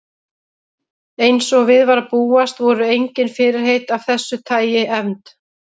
Eins og við var að búast voru engin fyrirheit af þessu tagi efnd.